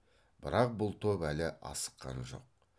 бірақ бұл топ әлі асыққан жоқ